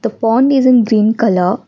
pond is in green colour.